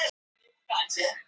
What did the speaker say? Gefið honum rjómablöndu?